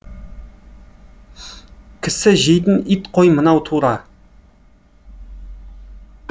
кісі жейтін ит қой мынау тура